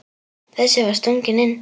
Þessi var stöngin inn.